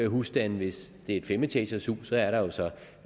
husstande hvis det er et femetagershus er der jo så